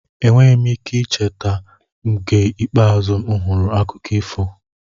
Enweghị m ike icheta oge ikpeazụ m hụrụ akụkọ ifo.